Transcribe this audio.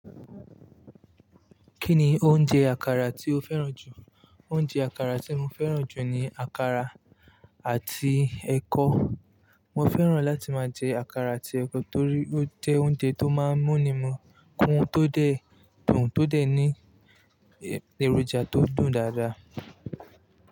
Kí ni oúnjẹ àkàrà tí o fẹ́ràn jù? Oúnjẹ àkàrà tí mo fẹ́ràn jù ni àkàrà àti ẹ̀kọ. Mo fẹ́ràn láti máa jẹ àkàrà àti ẹ̀kọ torí ó jẹ́ oúnjẹ tó máa ń múni mọkún tó dẹ̀ dùn, tó dẹ̀ ní èròjà tó dùn dáadáa.